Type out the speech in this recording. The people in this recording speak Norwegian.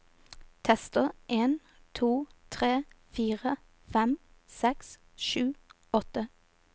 Tester en to tre fire fem seks sju åtte